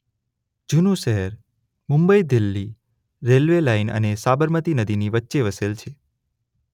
જૂનું શહેર Mumbai Delhi railway line અને સાબરમતી નદીની વચ્ચે વસેલ છે.